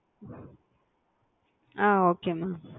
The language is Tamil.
a okay mam